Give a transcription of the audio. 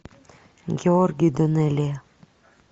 георгий данелия